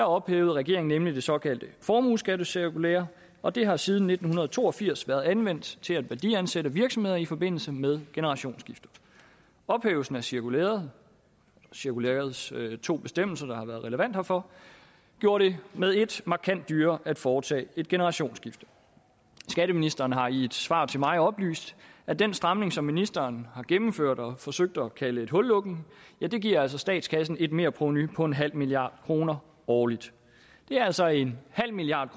ophævede regeringen nemlig det såkaldte formueskattecirkulære og det har siden nitten to og firs været anvendt til at værdiansætte virksomheder i forbindelse med generationsskifte ophævelsen af cirkulærets cirkulærets to bestemmelser der har været relevante herfor gjorde det med ét markant dyrere at foretage et generationsskifte skatteministeren har i et svar til mig oplyst at den stramning som ministeren har gennemført og forsøgt at kalde en hullukning giver statskassen et merprovenu på en halv milliard kroner årligt det er altså en halv milliard